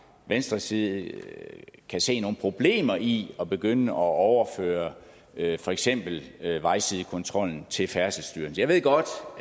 venstres side kan se nogen problemer i at begynde at overføre for eksempel vejsidekontrollen til færdselsstyrelsen jeg ved godt